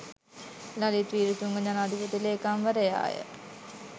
ලලිත් වීරතුංග ජනාධිපති ලේකම්වරයාය.